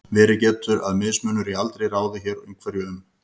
verið getur að mismunur í aldri ráði hér einhverju um